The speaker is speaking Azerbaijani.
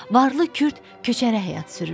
Varlı kürd köçəri həyat sürürdü.